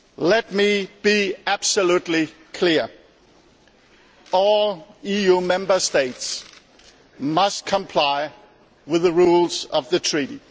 Let me be absolutely clear all EU Member States must comply with the rules of the Treaty.